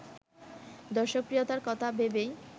দর্শকপ্রিয়তার কথা ভেবেই